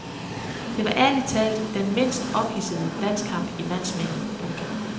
Det var ærligt talt den mindst ophidsende landskamp i mands minde. punktum